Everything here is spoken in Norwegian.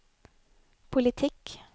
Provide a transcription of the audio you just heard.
politikk